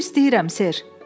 Su istəyirəm, ser.